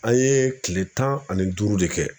An ye kile tan ani duuru de kɛ